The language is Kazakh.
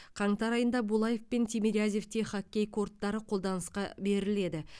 қаңтар айында булаев пен тимирязевте хоккей корттары қолданысқа беріледі